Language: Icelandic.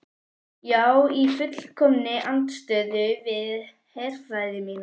Já í fullkominni andstöðu við herfræði mína.